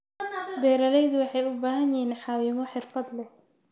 Beeraleydu waxay u baahan yihiin caawimo xirfad leh.